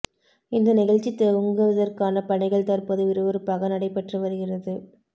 இந்த நிகழ்ச்சி துவங்குவதற்கான பணிகள் தற்போது விறுவிறுப்பாக நடைபெற்று வருகிறது